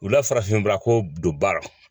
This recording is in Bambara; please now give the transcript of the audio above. U la farafinbako don baara